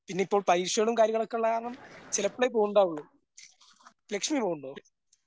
പിന്നിപ്പം പൈസകളും കാര്യങ്ങളൊക്കെള്ള കാരണം ചിലപ്പഴെ പോവുണ്ടാവുള്ളു ലക്ഷ്മി പോവുണ്ടോ?